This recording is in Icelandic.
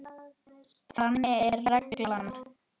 Þannig er reglan.